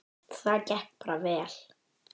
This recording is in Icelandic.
Það gekk bara vel.